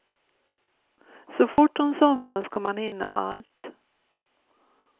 Så fort hon somnar ska man hinna allt.